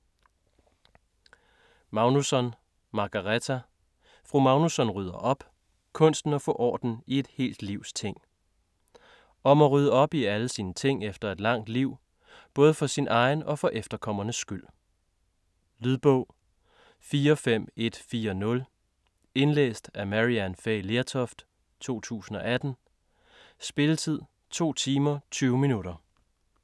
Magnusson, Margareta: Fru Magnusson rydder op!: kunsten at få orden i et helt livs ting Om at rydde op i alle sine ting efter et langt liv, både for sin egen og for efterkommernes skyld. Lydbog 45140 Indlæst af Maryann Fay Lertoft, 2018. Spilletid: 2 timer, 20 minutter.